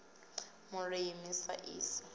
vhulimi sa sia i eaho